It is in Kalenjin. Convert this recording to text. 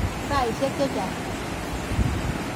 Saisyek che chang'.